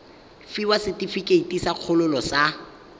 fiwa setefikeiti sa kgololo sa